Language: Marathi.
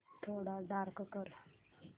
थोडा डार्क कर